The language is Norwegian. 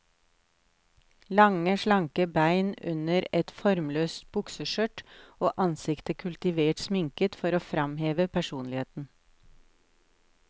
Lange, slanke bein under et formløst bukseskjørt, og ansiktet kultivert sminket for å framheve personligheten.